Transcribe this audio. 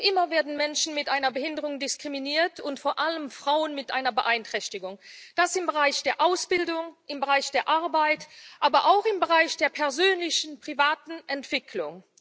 Noch immer werden Menschen mit einer Behinderung diskriminiert, und vor allem Frauen mit einer Beeinträchtigung das im Bereich der Ausbildung, im Bereich der Arbeit, aber auch im Bereich der persönlichen, privaten Entwicklung.